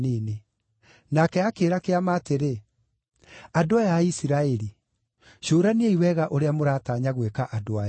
Nake akĩĩra Kĩama atĩrĩ, “Andũ aya a Isiraeli, cũraniai wega ũrĩa mũratanya gwĩka andũ aya.